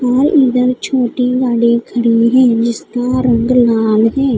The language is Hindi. और इधर छोटी गाड़ी खड़ी है जिसका रंग लाल है।